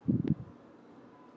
Í lok mars